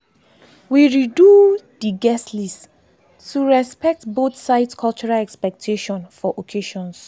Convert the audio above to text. we redo dey guest list to respect both sides cultural expectation for occasions.